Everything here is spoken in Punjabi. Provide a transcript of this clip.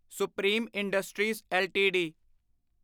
supreme industries LTD